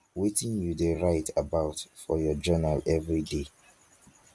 wetin you dey write about for your journal every day